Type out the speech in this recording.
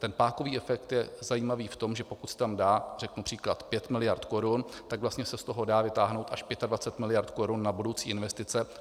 Ten pákový efekt je zajímavý v tom, že pokud se tam dá - řeknu příklad - 5 miliard korun, tak vlastně se z toho dá vytáhnout až 25 miliard korun na budoucí investice.